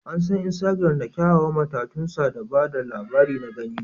An san Instagram da kyawawan matatunsa da ba da labari na gani